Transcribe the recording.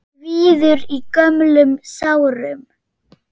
Svíður í gömlum sárum.